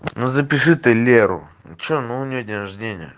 ну запиши ты леру что ну у неё день рождения